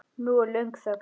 Nú er löng þögn.